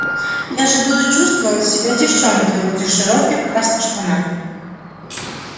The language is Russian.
я же буду чувствовать себя девчонкой в этих широких красных штанах